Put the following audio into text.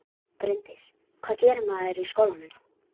Þær langaði til að standa uppi á fjallstindinum.